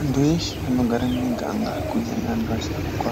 Antu eshe anogare mumuganga kunyanya antu asharuka,